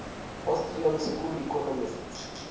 austrian school economists